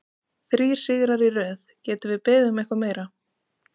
Þrír sigrar í röð, getum við beðið um eitthvað meira?